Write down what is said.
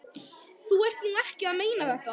Þú ert nú ekki að meina þetta!